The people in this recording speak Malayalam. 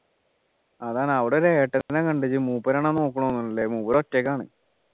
അതാണ് അവിടെ ഒരു ഏട്ടനെ കണ്ടു മൂപ്പരാണ് നോക്കുന്ന് തോന്നു അല്ലെ മൂപ്പര് ഒറ്റക്കാണ്